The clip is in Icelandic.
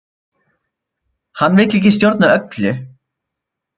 Hann vill ekki stjórna öllu